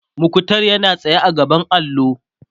muktar yana tsaye a gaban allo